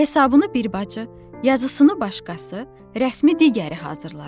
Hesabını bir bacı, yazısını başqası, rəsmi digəri hazırlayır.